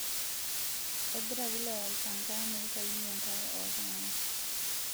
Egira wilaya aipanga neitainye enkare oo ltung'ana